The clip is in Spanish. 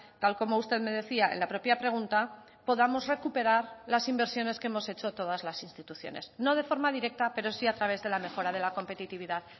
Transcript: tal como usted me decía en la propia pregunta podamos recuperar las inversiones que hemos hecho todas las instituciones no de forma directa pero sí a través de la mejora de la competitividad